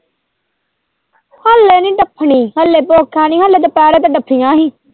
ਨਈਂ ਡੱਫਣੀ ਹਲੇ ਭੁੱਖ ਹੈਨੀ ਹਲੇ ਦੁਪਿਹਰੇ ਤੇ ਡੱਫੀਆਂ ਹੀ।